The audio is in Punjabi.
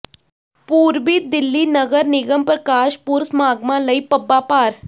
ਪੂਰਬੀ ਦਿੱਲੀ ਨਗਰ ਨਿਗਮ ਪ੍ਰਕਾਸ਼ ਪੁਰਬ ਸਮਾਗਮਾਂ ਲਈ ਪੱਬਾਂ ਭਾਰ